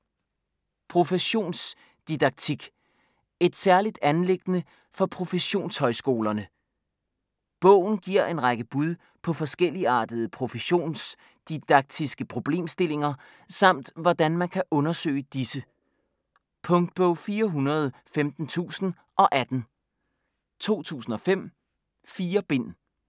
Professionsdidaktik: et særligt anliggende for professionshøjskolerne? Bogen giver en række bud på forskelligartede professionsdidaktiske problemstillinger samt hvordan man kan undersøge disse. Punktbog 415018 2015. 4 bind.